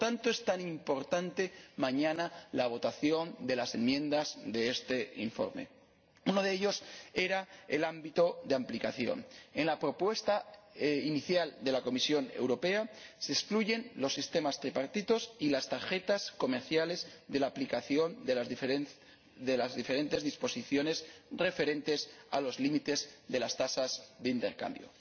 Por eso es tan importante mañana la votación de las enmiendas a este informe. Uno de estos temas era el ámbito de aplicación. En la propuesta inicial de la Comisión Europea se excluyen los sistemas tripartitos y las tarjetas comerciales de la aplicación de las diferentes disposiciones referentes a los límites de las tasas de intercambio.